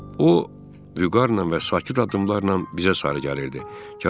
O vüqarla və sakit addımlarla bizə sarı gəlirdi.